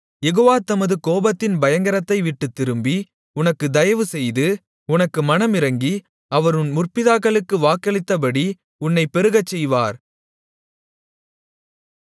யெகோவா தமது கோபத்தின் பயங்கரத்தைவிட்டுத் திரும்பி உனக்குத் தயைவு செய்து உனக்கு மனமிரங்கி அவர் உன் முற்பிதாக்களுக்கு வாக்களித்தபடி உன்னைப் பெருகச்செய்வார்